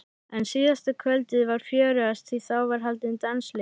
En síðasta kvöldið var fjörugast því þá var haldinn dansleikur.